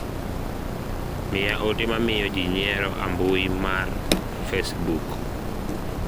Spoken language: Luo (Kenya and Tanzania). miya ote ma miyo jii nyiero a mbui mar facebook